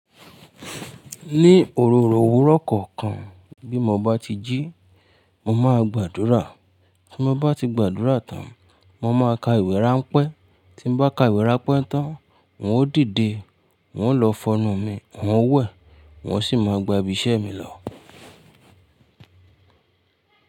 Ní òróró òwúrọ̀ kọ̀ọ̀kan, bí mo bá ti jí, mo máa gbàdúrà, tí mo bá ti gbàdúrà tán, mo máa ka ìwé ráńpẹ́, tí mo bá ka ìwé ráńpẹ́ tán, n ó dìde, wón ó lọ fọnnu mi, wón ó wẹ̀, wón sì máa gba ibi iṣẹ́ mi lọ.